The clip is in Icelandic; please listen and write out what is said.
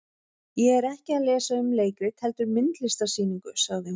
Ég er ekki að lesa um leikrit heldur myndlistarsýningu, sagði hún.